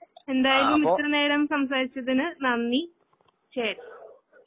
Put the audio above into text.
എന്തായാലുംഇത്തിരിനേരംസംസാരിച്ചതിന് നന്ദി. ശരി.